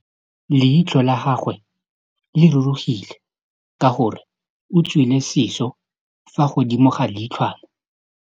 Leitlhô la gagwe le rurugile ka gore o tswile sisô fa godimo ga leitlhwana.